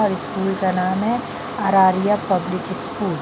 और स्कूल का नाम है अरारिया पब्लिक स्कूल ।